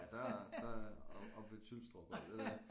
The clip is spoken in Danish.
Ja der er der er op oppe ved Tylstrup og alt det der